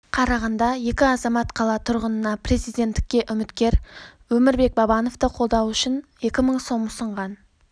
қарағанда екі азамат қала тұрғынына президенттікке үміткер өмірбек бабановты қолдау үшін екі мың сом ұсынған